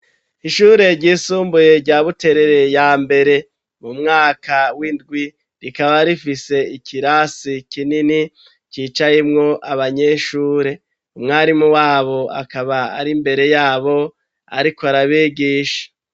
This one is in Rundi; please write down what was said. Ishure ry'isumbuye rya Buterere ya mbere mu mwaka w'indwi rikaba rifise ikirasi kinini cicayemwo abanyeshure, umwarimu wabo akaba ari mbere yabo ariko arabigisha.